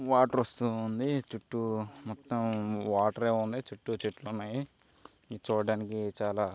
Water వస్తువు ఉంది. చుట్టూ మొత్తం వాటరే ఉంది . చుట్టూ మొత్తం చెట్లే ఉన్నాయి. చూడ్డానికి చాలా--